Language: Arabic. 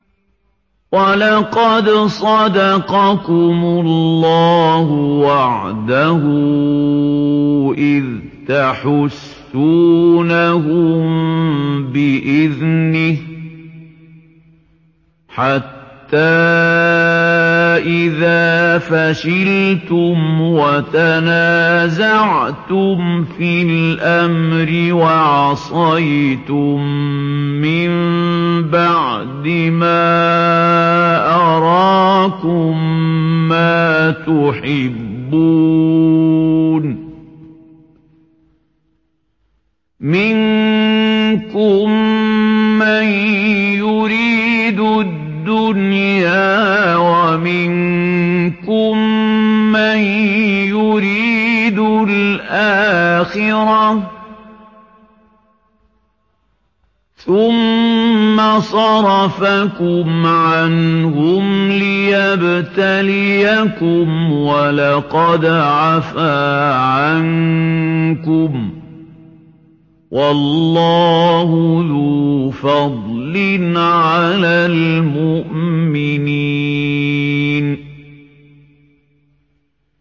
وَلَقَدْ صَدَقَكُمُ اللَّهُ وَعْدَهُ إِذْ تَحُسُّونَهُم بِإِذْنِهِ ۖ حَتَّىٰ إِذَا فَشِلْتُمْ وَتَنَازَعْتُمْ فِي الْأَمْرِ وَعَصَيْتُم مِّن بَعْدِ مَا أَرَاكُم مَّا تُحِبُّونَ ۚ مِنكُم مَّن يُرِيدُ الدُّنْيَا وَمِنكُم مَّن يُرِيدُ الْآخِرَةَ ۚ ثُمَّ صَرَفَكُمْ عَنْهُمْ لِيَبْتَلِيَكُمْ ۖ وَلَقَدْ عَفَا عَنكُمْ ۗ وَاللَّهُ ذُو فَضْلٍ عَلَى الْمُؤْمِنِينَ